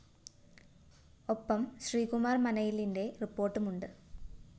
ഒപ്പം ശ്രീകുമാര്‍ മനയിലിന്റെ റിപ്പോര്‍ട്ടുമുണ്ട്‌